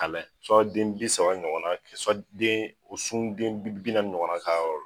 den bi saba ɲɔgɔn na den u sunden bi naani ɲɔgɔn na ka yɔrɔ la.